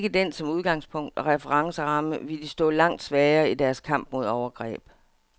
Havde de ikke den som udgangspunkt og referenceramme, ville de stå langt svagere i deres kamp mod overgreb.